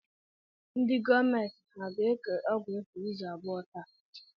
Ndị gọọmenti ha ga-eke ọgwụ efu izu abụọ taa?